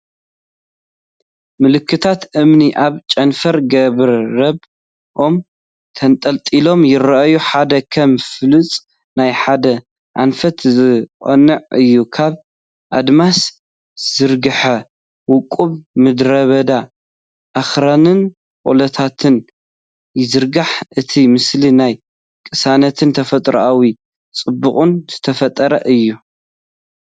ምልክታት እምኒ ኣብ ጨንፈር ገረብ/ኦም ተንጠልጢሎም ይረኣዩ፤ ሓደ ከም ፍላጻ ናብ ሓደ ኣንፈት ዝቐንዐ እዩ። ካብ ኣድማስ ዝዝርጋሕ ውቁብ ምድረበዳ ኣኽራንን ቆላታትን ይዝርጋሕ። እቲ ምስሊ ናይ ቅሳነትን ተፈጥሮኣዊ ጽባቐን ዝፈጥር እዩ።